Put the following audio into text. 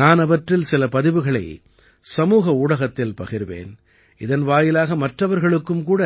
நான் அவற்றில் சில பதிவுகளை சமூக ஊடகத்தில் பகிர்வேன் இதன் வாயிலாக மற்றவர்களுக்கும் கூட